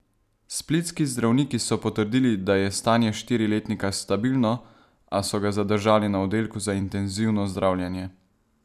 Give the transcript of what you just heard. Splitski zdravniki so potrdili, da je stanje štiriletnika stabilno, a so ga zadržali na oddelku za intenzivno zdravljenje.